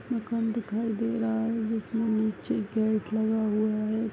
मकान दिखाई दे रहा है जिसमें नीचे गेट लगा हुआ है।